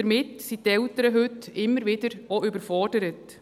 Damit sind die Eltern heute immer wieder überfordert.